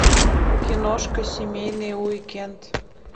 киношка семейный уикенд